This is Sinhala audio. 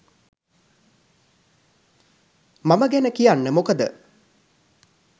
මම ගැන කියන්න මොකද